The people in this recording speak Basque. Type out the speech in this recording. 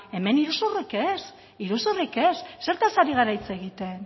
hemen iruzurrik ez zertaz ari gara hitz egiten